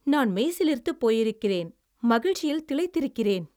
நான் மெய்சிலிர்த்துப் போயிருக்கிறேன். மகிழ்ச்சியில் திளைத்திருக்கிறேன்!